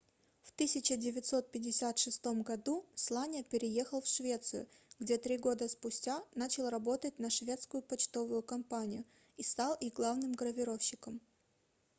в 1956 году сланя переехал в швецию где три года спустя начал работать на шведскую почтовую компанию и стал их главным гравировщиком